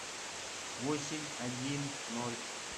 восемь один ноль